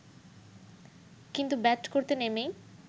কিন্তু ব্যাট করতে নেমেই